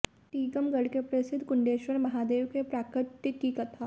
टीकमगढ़ के प्रसिद्ध कुंडेश्वर महादेव के प्राकट्य की कथा